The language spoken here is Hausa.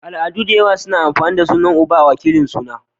Al'adu dayawa na amfani da sunan uba a wakilin suna